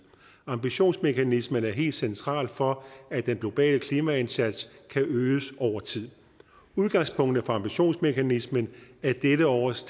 ambitionsmekanismen er helt central for at den globale klimaindsats kan øges over tid udgangspunktet for ambitionsmekanismen er dette års